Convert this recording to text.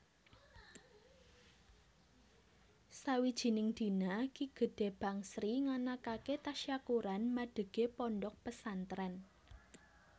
Sawijining dina Ki Gede Bangsri nganakaké tasyakuran madegé pondhok pesantrèn